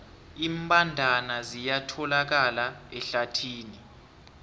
iimbandana ziyatholakala ehlathini